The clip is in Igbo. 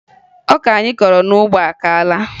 Ọka anyị kọrọ n'ugbo akaala